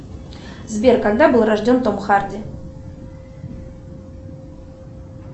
сбер когда был рожден том харди